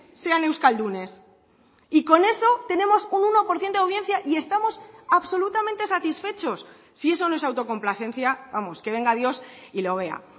sean euskaldunes y con eso tenemos un uno por ciento de audiencia y estamos absolutamente satisfechos si eso no es autocomplacencia vamos que venga dios y lo vea